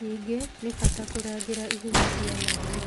Ningĩ, nĩ bata kũrangĩra ihumo cia maĩ.